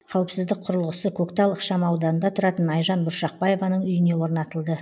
қауіпсіздік құрылғысы көктал ықшамауданында тұратын айжан бұршақбаеваның үйіне орнатылды